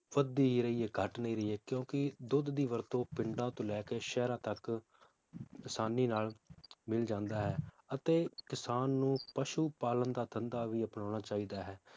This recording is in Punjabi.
ਵੱਧ ਦੀ ਰਹੀ ਹੈ ਘਟ ਨਹੀਂ ਰਹੀ ਹੈ ਕਿਉਂਕਿ ਦੁੱਧ ਦੀ ਵਰਤੋਂ ਪਿੰਡਾਂ ਤੋਂ ਲੈ ਕੇ ਸ਼ਹਿਰਾਂ ਤਕ ਆਸਾਨੀ ਨਾਲ ਮਿਲ ਜਾਂਦਾ ਹੈ ਅਤੇ ਕਿਸਾਨ ਨੂੰ ਪਸ਼ੂ ਪਾਲਣ ਦਾ ਧੰਦਾ ਵੀ ਅਪਣਾਉਣਾ ਚਾਹੀਦਾ ਹੈ